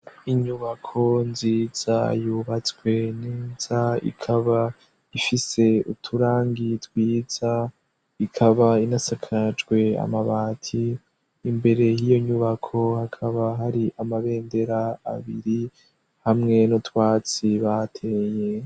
Inyubako nziza yubatswe nenza ikaba ifise uturangi twiza ikaba inasakajwe amabati imbere hiyo nyubako hakaba hari amabendera abiri hamwe n’utwatsi bateye.